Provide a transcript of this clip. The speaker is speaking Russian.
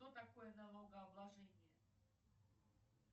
что такое налогооблажение